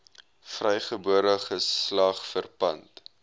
vrygebore geslag verpand